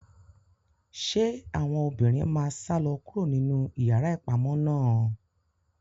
Se àwọn obìnrin ma salọ kuro ninu iyàrá ìpamọ náà?